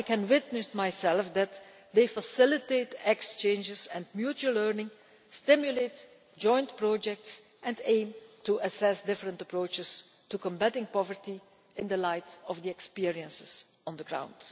I can confirm that they facilitate exchanges and mutual learning, stimulate joint projects and aim to assess different approaches to combating poverty in the light of experience on the ground.